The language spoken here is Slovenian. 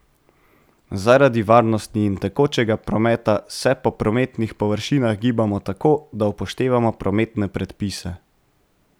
Zaradi varnosti in tekočega prometa se po prometnih površinah gibamo tako, da upoštevamo prometne predpise.